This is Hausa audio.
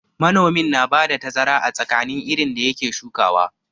Manomin na ba da tazara a tsakanin irin da ya ke shukawa.